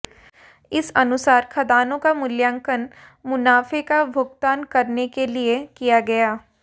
इस अनुसार खदानों का मुल्यांकन मुनाफे का भुगतान करने के लिए किया गया